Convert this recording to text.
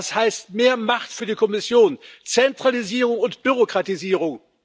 Das heißt mehr Macht für die Kommission, Zentralisierung und Bürokratisierung.